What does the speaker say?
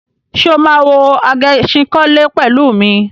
Ṣé o máa wo Agẹṣinkólé pẹ̀lú mi?